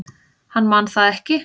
Hann man það ekki.